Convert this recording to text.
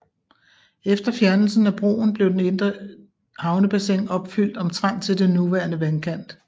Efter fjernelsen af broen blev den indre havnebassin opfylt omtrent til den nuværende vandkant